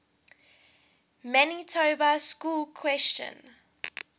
manitoba schools question